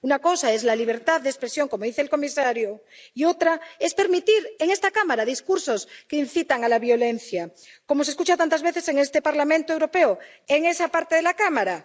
Una cosa es la libertad de expresión, como dice el comisario, y otra es permitir en esta Cámara discursos que incitan a la violencia, como se escuchan tantas veces en este Parlamento Europeo, en esa parte de la Cámara.